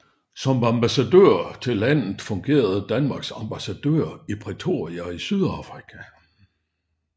Som ambassadør til landet fungerer Danmarks ambassadør i Pretoria i Sydafrika